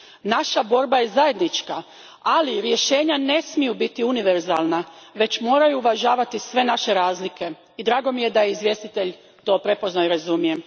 Naša borba je zajednička, ali rješenja ne smiju biti univerzalna, već moraju uvažavati sve naše razlike i drago mi je da je izvjestitelj to prepoznao i da to razumije.